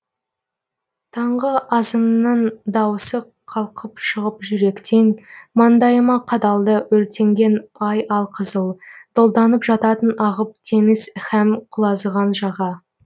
таңғы азанның дауысы қалқып шығып жүректен маңдайыма қадалды өртенген ай алқызыл долданып жататын ағып теңіз һәм құлазыған жаға